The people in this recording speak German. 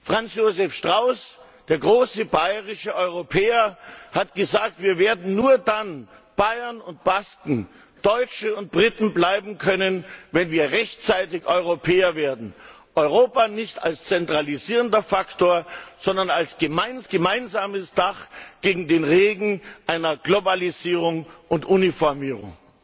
Franz Josef Strauß, der große bayerische Europäer, hat gesagt Wir werden nur dann Bayern und Basken, Deutsche und Briten bleiben können, wenn wir rechtzeitig Europäer werden Europa nicht als zentralisierender Faktor, sondern als gemeinsames Dach gegen den Regen einer Globalisierung und Uniformierung.